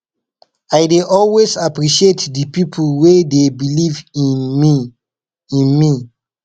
i dey always appreciate di pipo wey dey believe in me in me